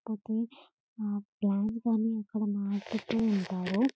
Cocoon plants గాని ఇక్కడ మారుస్తూంటారు.